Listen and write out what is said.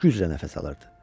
Güclə nəfəs alırdı.